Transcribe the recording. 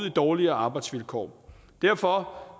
i dårligere arbejdsvilkår derfor